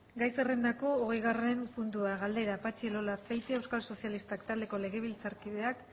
gai zerrendako hogeigarren puntua galdera patxi elola azpeitia euskal sozialistak taldeko legebiltzarkideak